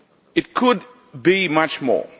It could be much more.